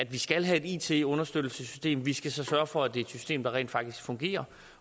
vi skal have et it understøttelsessystem vi skal så sørge for at det er et system der rent faktisk fungerer